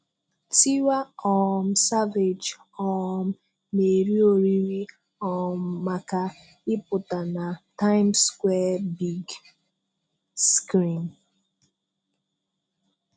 Tiwa um Savage um nà-èrí òrìrì um màkà ìpụtà nà 'Tìmes Square Big Screen.